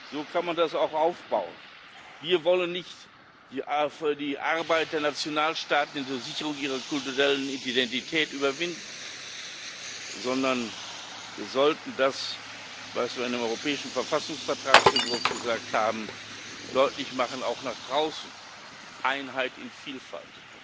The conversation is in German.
So kann man das auch aufbauen. Wir wollen nicht die Arbeit der Nationalstaaten in der Sicherung ihrer kulturellen Identität überwinden, sondern wir sollten das, was wir in dem europäischen Verfassungsvertragsentwurf gesagt haben, auch nach draußen deutlich machen Einheit in Vielfalt.